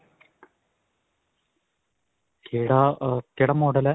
ਕਿਹੜਾ ਅਅ ਕਿਹੜਾ model ਹੈ?